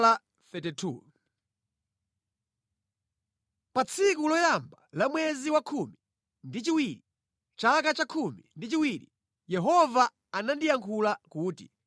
Pa tsiku loyamba la mwezi wa khumi ndi chiwiri, chaka chakhumi ndi chiwiri, Yehova anandiyankhula kuti: